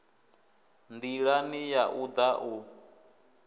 ndilani ya u da u